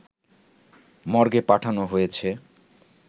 মর্গে পাঠানো হয়েছে